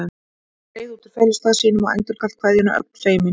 Hann skreið út úr felustað sínum og endurgalt kveðjuna, ögn feiminn.